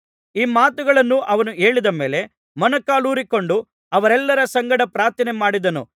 ಈ ಮಾತುಗಳನ್ನು ಅವನು ಹೇಳಿದ ಮೇಲೆ ಮೊಣಕಾಲೂರಿಕೊಂಡು ಅವರೆಲ್ಲರ ಸಂಗಡ ಪ್ರಾರ್ಥನೆಮಾಡಿದನು